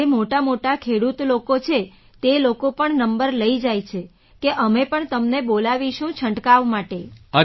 જે મોટામોટા ખેડૂત લોકો છે તે લોકો પણ નંબર લઈ જાય છે કે અમે પણ તમને બોલાવીશું છંટકાવ માટે